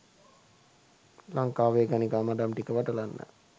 ලංකාවේ ගණිකා මඩම් ටික වටලන්න